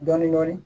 Dɔɔnin dɔɔnin